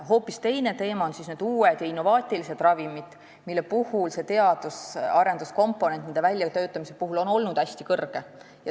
Hoopis teine teema on uued ja innovaatilised ravimid, mille puhul teadusarenduse komponent nende väljatöötamisel on olnud hästi kõrge.